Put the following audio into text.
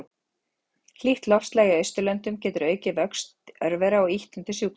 Hlýtt loftslag í Austurlöndum getur aukið vöxt örvera og ýtt undir sjúkdóma.